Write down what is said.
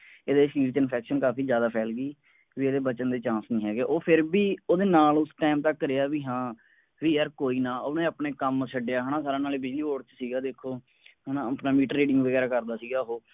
ਇਹਦੇ ਸ਼ਰੀਰ ਛੇ infunction ਕਾਫੀ ਜਿਆਦਾ ਫੈਲ ਗਈ ਵੀ ਇਹਦੇ ਬਚਣ ਦੇ chance ਨਹੀਂ ਹੈਗੇ ਉਹ ਫੇਰ ਓਹਦੇ ਨਾਲ ਉਸ time ਤੱਕ ਰਿਹਾ ਵੀ ਹਾਂ ਵੀ ਯਾਰ ਕੋਈ ਨਾ ਓਹਨੇ ਆਪਣੇ ਕੰਮ ਛੱਡਿਆ ਹੈ ਨਾ ਸਾਰਾ ਨਾਲੇ busy ਹੋਰ ਚ ਸੀਗਾ ਦੇਖੋ ਹੈ ਨਾ ਆਪਣਾ trading ਵਗੈਰਾ ਕਰਦਾ ਸੀਗਾ ਉਹ